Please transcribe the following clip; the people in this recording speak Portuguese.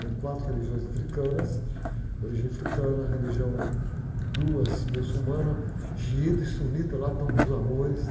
Tem quatro religiões africanas, religião africana, religião, duas muçulmana, xiita e sunita, lá estão nos amores.